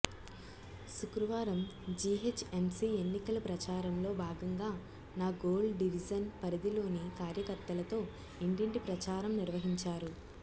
శుక్రవారం జీహెచ్ఎంసీ ఎన్నికల ప్రచారంలో భాగంగా నాగోల్ డివిజన్ పరిధిలోని కార్యకర్తలతో ఇంటింటి ప్రచారం నిర్వహించారు